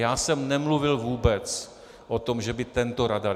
Já jsem nemluvil vůbec o tom, že by tento radar.